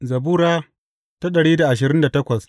Zabura Sura dari da ashirin da takwas